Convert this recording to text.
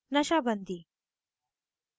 nasha bandi